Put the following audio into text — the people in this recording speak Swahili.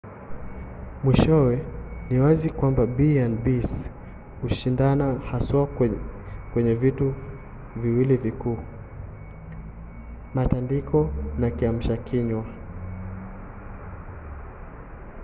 mwishowe ni wazi kwamba b&bs hushindana haswa kwenye vitu viwili vikuu: matandiko na kiamsha kinywa